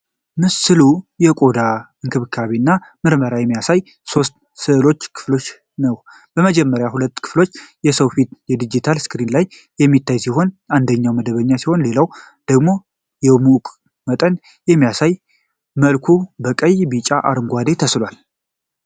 ምስሉ የቆዳ እንክብካቤ እና ምርመራን የሚያሳይ በሦስት ክፍሎች የተከፈለ ነው። በመጀመሪያዎቹ ሁለት ክፍሎች የሰው ፊት በዲጂታል ስክሪን ላይ የሚታይ ሲሆን፣ አንደኛው መደበኛ ሲሆን ሌላኛው ደግሞ የሙቀት መጠንን በሚያሳይ መልኩ በቀይ፣ በቢጫና አረንጓዴ ተስሏል።